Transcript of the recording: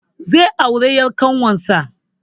Zai auri ƴar kawunsa